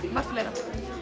margt fleira